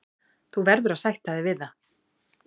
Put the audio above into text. Þú verður að sætta þig við það.